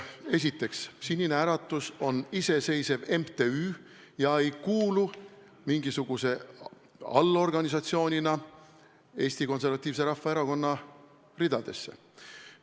Esiteks, Sinine Äratus on iseseisev MTÜ ega kuulu mingisuguse allorganisatsioonina Eesti Konservatiivse Rahvaerakonna ridadesse.